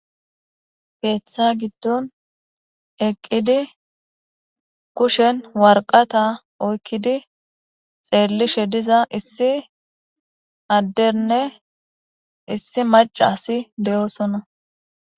keeththa giddon eqqidi kushen warqata oykkidi xeellishe diza issi adderne issi macasi de7oosona